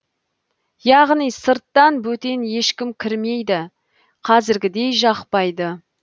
яғни сырттан бөтен ешкім кірмейді қазіргідей жақпайды